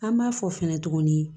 An b'a fɔ fɛnɛ tuguni